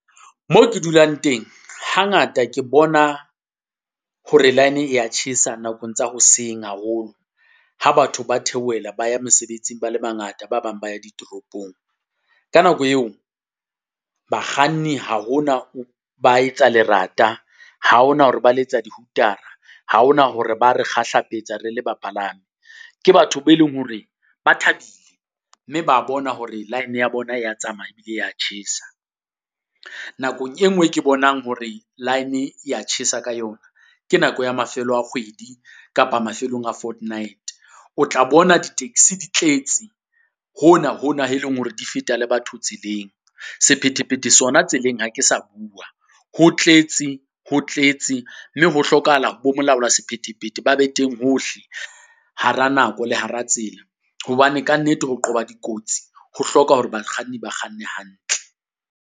Mo ke dulang teng, hangata ke bona hore line e ya tjhesa nakong tsa hoseng haholo. Ha batho ba theohela ba ya mesebetsing ba le bangata, ba bang ba ya ditoropong. Ka nako eo, bakganni ha ho na ba etsa lerata, ha ho na hore ba letsa di-hooter-a, ha ho na hore ba re kgahlapetsa re le bapalami. Ke batho be leng hore ba thabile, mme ba bona hore line ya bona ya tsamaya ebile e ya tjhesa. Nakong e nngwe e ke bonang hore line e ya tjhesa ka yona, ke nako ya mafelo a kgwedi kapa mafelong a fortnight. O tla bona di-taxi di tletse hona hona, he leng hore di feta le batho tseleng, sephethephethe sona tseleng ha ke sa bua. Ho tletse, ho tletse mme ho hlokahala bo molaola sephetephete ba be teng hohle hara nako le hara tsela. Hobane kannete ho qoba dikotsi ho hloka hore bakganni ba kganne hantle.